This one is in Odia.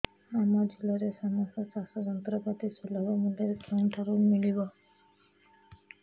ଆମ ଜିଲ୍ଲାରେ ସମସ୍ତ ଚାଷ ଯନ୍ତ୍ରପାତି ସୁଲଭ ମୁଲ୍ଯରେ କେଉଁଠାରୁ ମିଳିବ